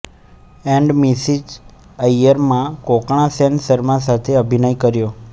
and Mrs Iyer માં કોંકણા સેન શર્મા સાથે અભિનય કર્યો